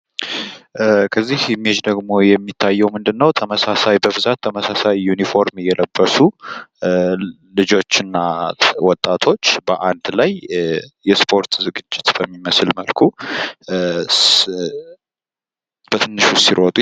ምስሉ ላይ የምንመለከተው ተመሳሳይ ቀለም ያለው ልብስ የለበሱ ልጆችና ወጣቶች የእስፖርት ዝግጅት በሚመስል መልኩ ሲሮቱ ይታያሉ።